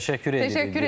Təşəkkür edirik.